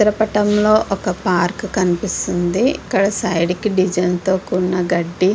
ఇ చిత్ర పటం ఒక పార్క్ కనిపిస్తుంది. ఇక్కడ సైడ్కికి డిజైన్ తో కూడిన గడ్డి --